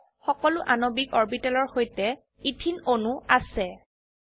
প্যানেলত সকলো আণবিক অৰবিটেলৰ সৈতে ইথিন অণু আছে